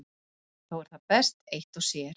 Þó er það best eitt og sér.